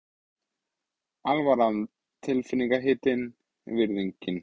Alvaran tilfinningahitinn, virðingin.